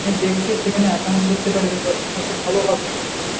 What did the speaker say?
দেখতে সেখানে account করতে পারবে ওটা সবচেয়ে ভালো হবে